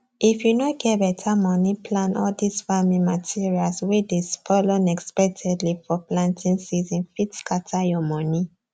if you no get better money plan all this farm materials wey dey spoil unexpectedly for planting season fit scatter your money